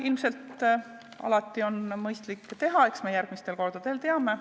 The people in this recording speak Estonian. Ilmselt on seda alati mõistlik teha ja eks me järgmistel kordadel seda teeme.